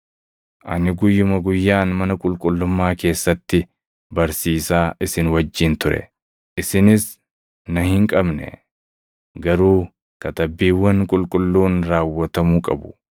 Ani guyyuma guyyaan mana qulqullummaa keessatti barsiisaa isin wajjin ture; isinis na hin qabne. Garuu Katabbiiwwan Qulqulluun raawwatamuu qabu.”